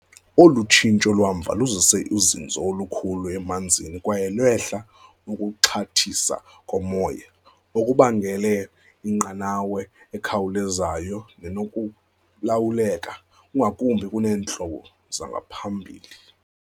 Olu tshintsho lwamva luzise uzinzo olukhulu emanzini kwaye lwehla ukuxhathisa komoya, okubangele inqanawa ekhawulezayo nenokulawuleka ngakumbi kuneentlobo zangaphambili.